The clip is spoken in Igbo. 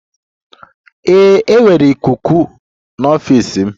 Ee, enwere ikuku ikuku n'ọfịs m.